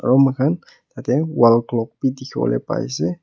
aro moi khan yate wall clock bi dikhi bole pai ase.